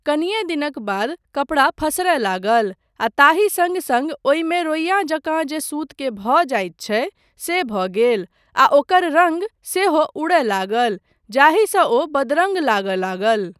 कनिये दिनक बाद कपड़ा फसरय लागल, आ ताहि सङ्ग सङ्ग ओहिमे रोइया जकाँ जे सुतकेँ भऽ जाइत छै से भऽ गेल, आ ओकर रङ्ग सेहो उड़य लागल जाहिसँ ओ बदरङ्ग लागय लागल।